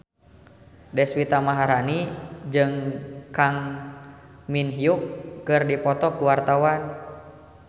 Deswita Maharani jeung Kang Min Hyuk keur dipoto ku wartawan